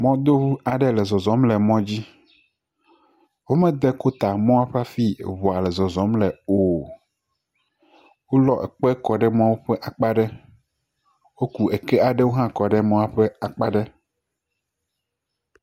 Mɔdoŋu aɖe nɔ zɔzɔm le mɔ dzi. Womede kota mɔa ƒe afi eŋua le zɔzɔm le o. Wolɔ kpe kɔ ɖe mɔa ƒe akpa ɖe. Woku eke hã kɔ ɖe emɔa ƒe akpa ɖe.